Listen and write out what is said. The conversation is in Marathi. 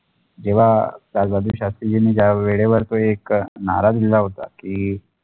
जवा राजेंद्र शास्त्रीजी नी ज्या वेडे वर एक नारा दिल्या होता की